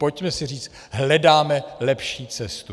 Pojďme si říct: hledáme lepší cestu.